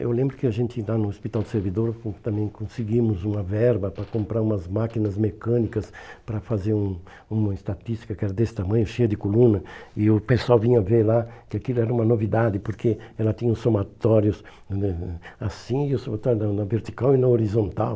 Eu lembro que a gente lá no Hospital do Servidor também conseguimos uma verba para comprar umas máquinas mecânicas para fazer um uma estatística que era desse tamanho, cheia de coluna, e o pessoal vinha ver lá que aquilo era uma novidade, porque ela tinha os somatórios eh assim, e os somatórios na na vertical e na horizontal.